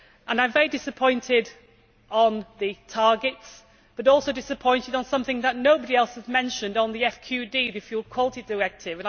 I am very disappointed about the targets, but also disappointed about something that nobody else has mentioned the FQD, the Food Quality Directive.